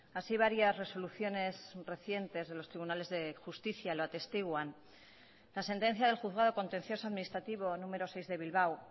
así varias resoluciones recientes de los tribunales de justicia lo atestiguan la sentencia del juzgado contencioso administrativo número seis de bilbao